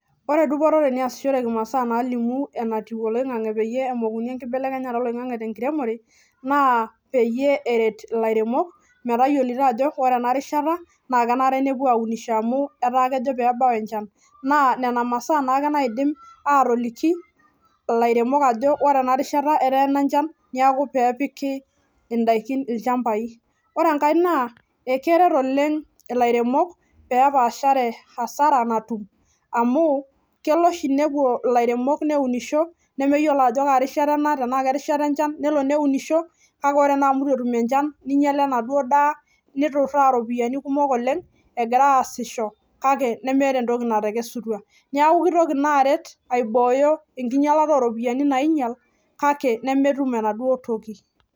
ore dupoto teneyasishoreki pee alimu enkibelekenyata oloing'ang'e naa peyie eret, ilairemok peyie naa nena masaa naa ake naidim atoliki ilairemok ajo ore enashan neeku ,pee epiki idaikin ilchambai keret oleng pee epashare asara natum amu kelo oshi neunisho ilairemok nengiala enaduoo daa neeku kitoki aiboyo enkingialata oo iropiyiani nang'ial.